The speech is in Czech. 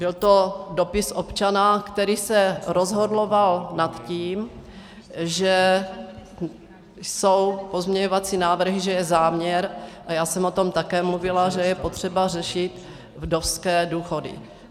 Byl to dopis občana, který se rozhorloval nad tím, že jsou pozměňovací návrhy, že je záměr, a já jsem o tom také mluvila, že je potřeba řešit vdovské důchody.